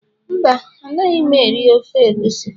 Mba, Anaghị m eri ofe egusi